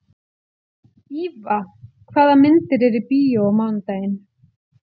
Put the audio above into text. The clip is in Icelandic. Íva, hvaða myndir eru í bíó á mánudaginn?